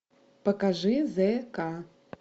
покажи зе ка